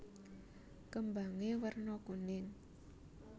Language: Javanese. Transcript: Kembangé werna kuning